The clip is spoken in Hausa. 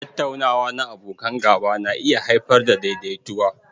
Tattaunawa na abokan gaba na iya haifar da daidaituwa.